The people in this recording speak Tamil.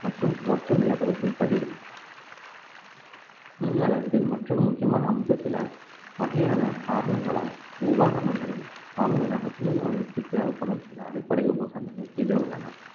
மற்றும் மொத்த நிலப்பரப்பின்படி மீன் வளர்ப்பில் மற்றொரு முக்கியமான அம்சத்துல வகையான காரணங்களால் உபகரணங்களை வாங்குவதாகவும் மீன் வளர்ப்பிற்க்கு தேவைப்படும் சில அடிப்படை உபகரணங்கள் கீழே உள்ளன